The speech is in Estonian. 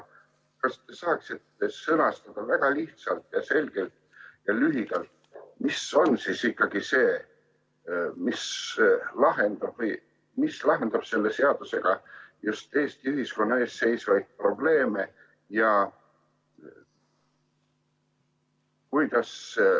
Kas saaksite sõnastada väga lihtsalt, selgelt ja lühidalt, mis on siis ikkagi see, mida me selle seadusega just Eesti ühiskonnas lahendame?